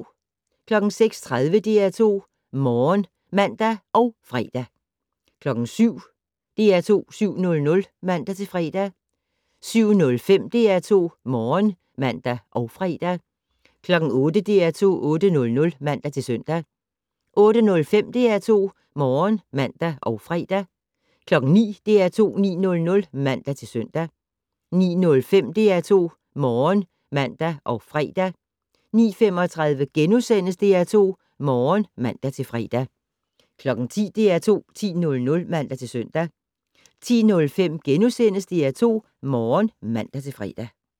06:30: DR2 Morgen (man og fre) 07:00: DR2 7:00 (man-fre) 07:05: DR2 Morgen (man og fre) 08:00: DR2 8:00 (man-søn) 08:05: DR2 Morgen (man og fre) 09:00: DR2 9:00 (man-søn) 09:05: DR2 Morgen (man og fre) 09:35: DR2 Morgen *(man-fre) 10:00: DR2 10:00 (man-søn) 10:05: DR2 Morgen *(man-fre)